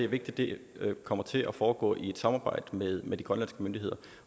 vigtigt kommer til at foregå i et samarbejde med med de grønlandske myndigheder